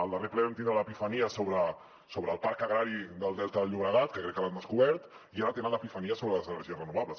al darrer ple vam tindre l’epifania sobre el parc agrari del delta del llobregat que crec que l’han descobert i ara tenen l’epifania sobre les energies renovables